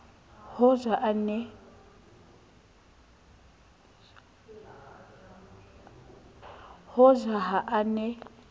ho ja ha a ne